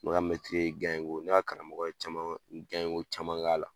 N ka ye ko ne ka karamɔgɔ ye ko caman k'a la